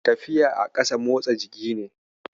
Tafiya a ƙasa motsa jiki ne